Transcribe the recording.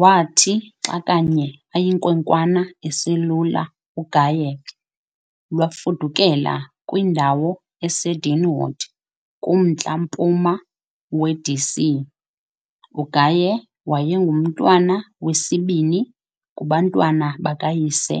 Wathi xa kanye ayinkwenkwana eselula uGaye, lwafudukela kwindawo eseDeanwood kumntla-mpuma weD.C. UGaye wayengumntwana wesibini kubantwana bakayise